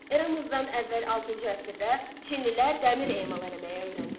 Eramızdan əvvəl altıncı əsrdə çinlilər dəmir emal eləməyi öyrəndilər.